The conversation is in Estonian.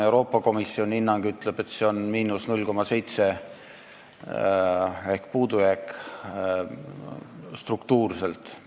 Euroopa Komisjoni hinnang ütleb, et struktuurne puudujääk on 0,7%.